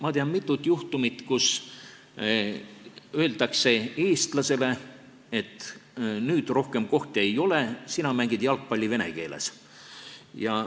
Ma tean mitut juhtumit, kui eestlasele on öeldud, et rohkem kohti ei ole ja sina mängid jalgpalli vene keeles.